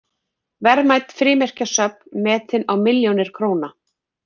Verðmæt frímerkjasöfn metin á milljónir króna